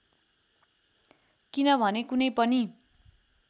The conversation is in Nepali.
किनभने कुनै पनि